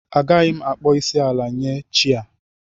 Agaghị m akpọ isi ala nye chi a